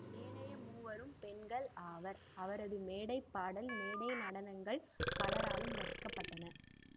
ஏனைய மூவரும் பெண்கள் ஆவர் அவரது மேடை பாடல் மேடை நடனங்கள் பலராலும் ரசிக்கப்பட்டன